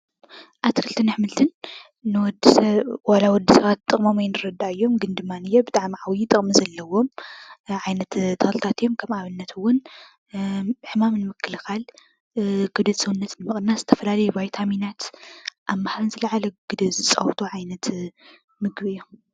ኣትክልትን ኣሕምልትን ንወድሰብ ጥቕሞም ዋላ ኣይንረድኣዮም ግን ድማኒየ ዓብዪ ጥቕሚ ዘለዎም ዓይነት ተኽልታት እዮም ።ከም ኣብነት እዉን ሕማም ንምክልካል ፣ ክብደት ሰውነት ንምቅናስ ናይ ዝተፈላለዩ ቫይታሚናት አብ ምሃብ ዝለዓለ ግደ ዝፀወቱ ዓይነት ምግቢ እዮም።